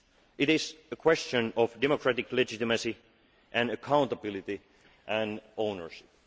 own. It is a question of democratic legitimacy and accountability and ownership.